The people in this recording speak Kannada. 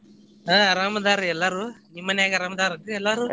ಹಾ ಅರಾಮ್ ಅದಾರಿ ಎಲ್ಲಾರು ನಿಮ್ಮನ್ಯಾಗ್ ಅರಾಮ್ ಅದಾರ ಏನ್ರಿ ಎಲ್ಲಾರು?